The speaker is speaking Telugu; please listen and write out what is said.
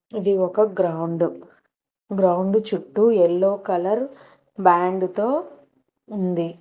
ఇది ఒక గ్రౌండ్ గ్రౌండ్ చుట్టూ ఎల్లో కలర్ బ్యాండ్ తో ఉంది.